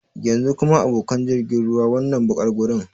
Yanzu kuma, abokan jirgin ruwa, wannan baƙar gurin?